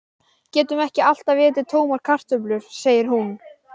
Getum ekki alltaf étið tómar kartöflur, segir hún.